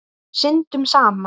Syndum saman.